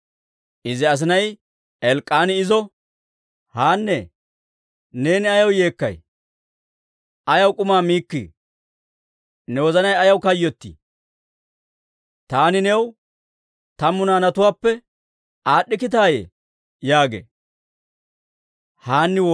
Izi asinay Elk'k'aani izo, «Haannee, neeni ayaw yeekkay? Ayaw k'umaa miikkii? Ne wozanay ayaw kayyottii? Taani new tammu naanatuwaappe aad'd'ikkitaayye?» yaagee.